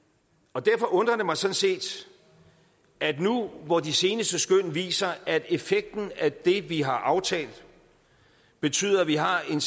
derfor undrer det mig sådan set at nu hvor de seneste skøn viser at effekten af det vi har aftalt betyder at vi har en